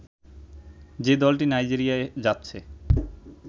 যে দলটি নাইজেরিয়ায় যাচ্ছে